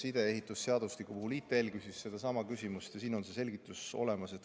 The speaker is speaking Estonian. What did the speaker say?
ITL küsis sama küsimuse ja siin on see selgitus olemas.